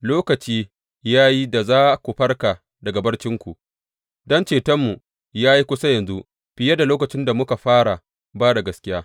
Lokaci ya yi da za ku farka daga barcinku, don cetonmu ya yi kusa yanzu fiye da lokacin da muka fara ba da gaskiya.